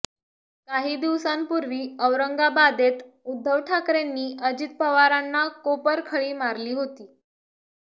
काही दिवसांपूर्वी औरंगाबादेत उद्धव ठाकरेंनी अजित पवारांना कोपरखळी मारली होती